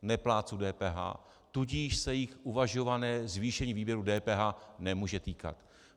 Neplátců DPH, tudíž se jich uvažované zvýšení výdajů DPH nemůže týkat.